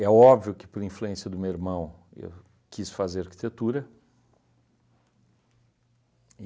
É óbvio que, por influência do meu irmão, eu quis fazer arquitetura.